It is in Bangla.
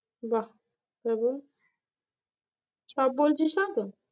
বাহ্ সব বলছিস না তো?